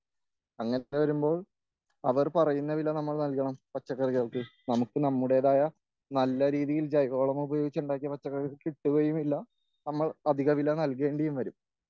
അങ്ങനെ വരുമ്പോൾ അവർ പറയുന്ന വില നമ്മൾ നൽകണം പച്ചക്കറികൾക്ക്.നമുക്ക് നമ്മുടേതായ നല്ല രീതിയിൽ ജൈവവളം ഉപയോഗിച്ച് ഉണ്ടാക്കിയ പച്ചക്കറികൾക്ക് കിട്ടുകയുമില്ല, നമ്മൾ അധിക വില നൽകേണ്ടിയും വരും.